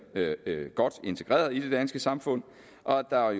godt integreret i det danske samfund og at der